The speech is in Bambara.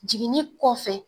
Jiginni kɔfɛ